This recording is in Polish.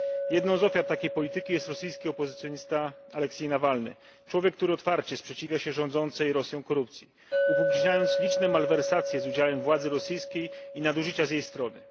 Jedną z ofiar takiej polityki jest rosyjski opozycjonista Aleksiej Nawalny człowiek, który otwarcie sprzeciwia się rządzącej Rosją korupcji, upubliczniając liczne malwersacje z udziałem władzy rosyjskiej i nadużycia z jej strony.